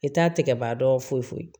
I t'a tɛgɛ ban dɔn foyi foyi